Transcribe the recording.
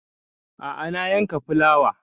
A'a na yanka fulawa